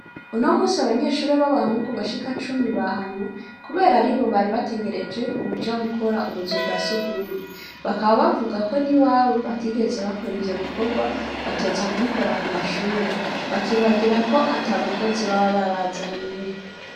Uno musi abanyeshure b'abahungu bashika cumi bahanywe, kubera ari bo bari bategereje kubuja gukora ubuzu bwa sugumwe bakaba bavuga ko ni wabo batigeze bakora ivyo bikorwa batoza kubikora ku mashure bakibagira ko ata bakozi bababazaniye.